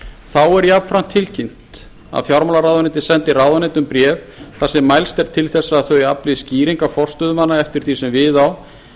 þá er jafnframt tilkynnt að fjármálaráðuneytið sendi ráðuneytum bréf þar sem mælst er til þess að þau afli skýringa forstöðumanna eftir því sem við á